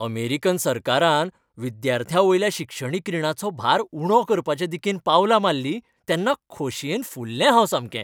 American सरकारान विद्यार्थ्यांवयल्या शिक्षणीक रीणाचो भार उणो करपाचे दिकेन पावलां मारलीं तेन्ना खोशयेन फुल्लें हांव सामकें.